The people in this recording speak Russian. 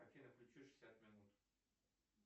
афина включи шестьдесят минут